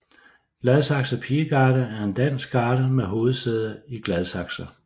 Gladsaxe Pigegarde er en dansk garde med hovedsæde i Gladsaxe